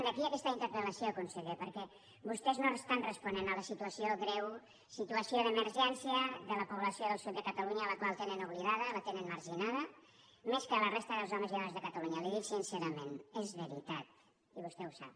d’aquí aquesta interpel·lació conseller perquè vostès no estan responent a la situació greu situació d’emergència de la població del sud de catalunya la qual tenen oblidada la tenen marginada més que a la resta dels homes i dones de catalunya li ho dic sincerament és veritat i vostè ho sap